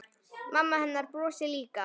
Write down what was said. Mamma hennar brosir líka.